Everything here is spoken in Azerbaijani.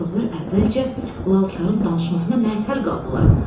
Uşaqlar əvvəlcə lalkarın danışmasına mətəl qaldılar.